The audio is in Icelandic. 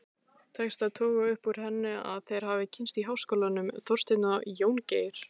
Tekst að toga upp úr henni að þeir hafi kynnst í háskólanum, Þorsteinn og Jóngeir.